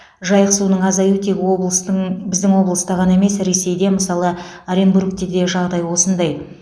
жайық суының азаю тек облыстың біздің облыста ғана емес ресейде мысалы оренбургте де жағдай осындай